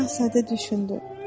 Balaca şahzadə düşündü.